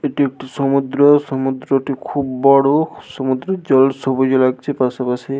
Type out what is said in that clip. এটি একটি সমুদ্র। সমুদ্রটি খুব বড়। সমুদ্রের জল সবুজে লাগছে পাশাপাশি।